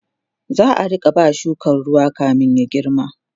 za'a Rika ba shukan ruwa kamin ya girma